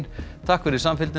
takk fyrir samfylgdina